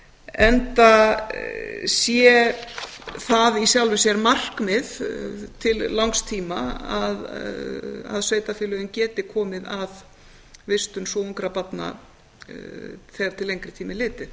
enda sé það í sjálfu sér markmið til langs tíma að sveitarfélögin geti komið að vistun svo ungra barna þegar til lengri tíma er litið